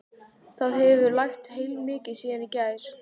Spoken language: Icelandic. Það hefur lægt heilmikið síðan í gær.